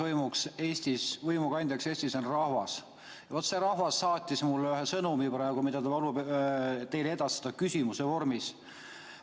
Kõrgeima võimu kandjaks Eestis on rahvas ja see rahvas saatis mulle praegu sõnumi, mille palub mul teile edastada küsimuse vormis.